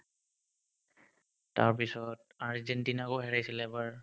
তাৰপিছত আৰ্জেন্টিনাকো হেৰাইছিল এবাৰ